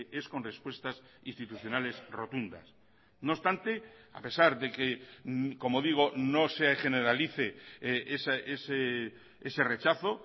es con respuestas institucionales rotundas no obstante a pesar de que como digo no se generalice ese rechazo